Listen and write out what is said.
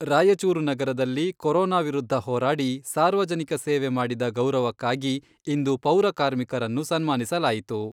ರಾಯಚೂರು ನಗರದಲ್ಲಿ ಕೊರೊನಾ ವಿರುದ್ಧ ಹೋರಾಡಿ ಸಾರ್ವಜನಿಕ ಸೇವೆ ಮಾಡಿದ ಗೌರವಕ್ಕಾಗಿ ಇಂದು ಪೌರ ಕಾರ್ಮಿಕರನ್ನು ಸನ್ಮಾನಿಸಲಾಯಿತು.